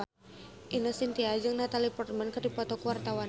Ine Shintya jeung Natalie Portman keur dipoto ku wartawan